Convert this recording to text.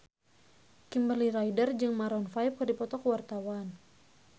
Kimberly Ryder jeung Maroon 5 keur dipoto ku wartawan